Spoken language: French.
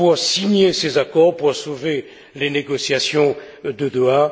signer ces accords, pour sauver les négociations de Doha.